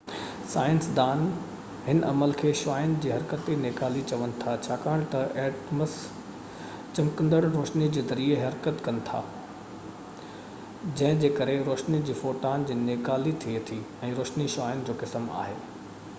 سائنسدان هن عمل کي شعاعن جي حرڪتي نيڪالي چون ٿا ڇاڪاڻ تہ ايٽمس چمڪندڙ روشني جي ذريعي حرڪت ڪن ٿا جنهن جي ڪري روشني جي فوٽان جي نيڪالي ٿئي ٿي ۽ روشني شعاعن جو قسم آهي